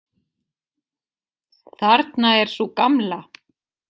Þarna er sú gamla!